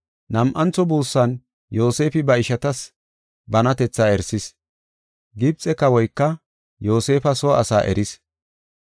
Nam7antho buussan Yoosefi ba ishatas banatetha erisis. Gibxe kawoyka Yoosefa soo asa eris.